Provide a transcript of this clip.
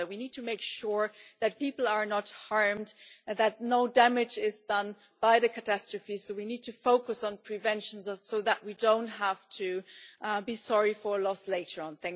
We need to make sure that people are not harmed, that no damage is done by the catastrophe. We need to focus on prevention so that we don't have to be sorry for loss later on.